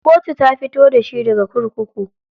Kotu ta fito da shi daga kurkuku.